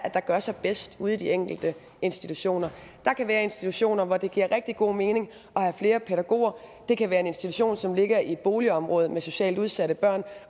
er der gør sig bedst ude i de enkelte institutioner der kan være institutioner hvor det giver rigtig god mening at have flere pædagoger det kan være en institution som ligger i et boligområde med socialt udsatte børn